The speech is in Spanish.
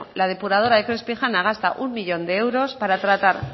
la depuradora de crispijana gasta uno millón de euros para tratar